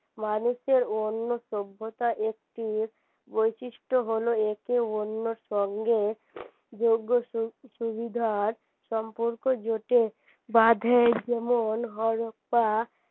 মানুষের অন্য সভ্যতার একটি বৈশিষ্ট হলো একে অন্যের সঙ্গে যোগ্য সুবিধার জোট বাধে যেমন